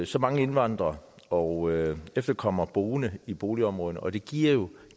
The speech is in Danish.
så mange indvandrere og efterkommere boende i boligområder og det giver jo